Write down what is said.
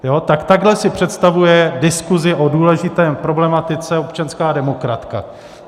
Tak takhle si představuje diskuzi o důležité problematice občanská demokratka!